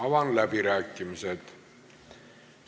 Avan läbirääkimised.